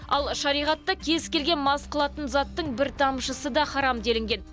ал шариғатта кез келген мас қылатын заттың бір тамшысы да харам делінген